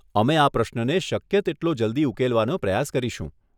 અમે આ પ્રશ્નને શક્ય તેટલો જલ્દી ઉકેલવાનો પ્રયાસ કરીશું.